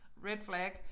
Red flag